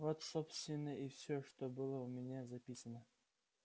вот собственно и всё что было у меня записано